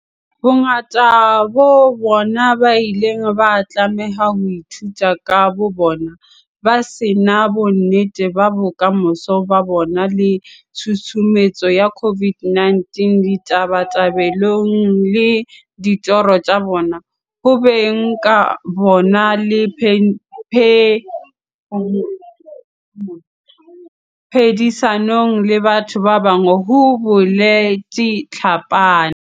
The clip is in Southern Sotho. "Bongata ba bona ba ile ba tlameha ho ithuta ka bobona, ba se na bonnete ba bokamoso ba bona le tshusumetso ya COVID-19 ditabatabelong le ditorong tsa bona, ho beng ka bona le phedisanong le batho ba bang," ho boletse Tlhapane.